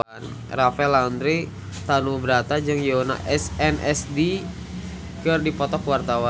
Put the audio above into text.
Rafael Landry Tanubrata jeung Yoona SNSD keur dipoto ku wartawan